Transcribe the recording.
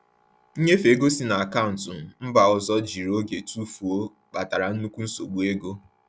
Nnyefe ego si na akaụntụ mba ọzọ jiri oge tụfuo, kpatara nnukwu nsogbu ego.